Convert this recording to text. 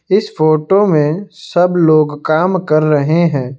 इस फोटो में सब लोग काम कर रहे हैं।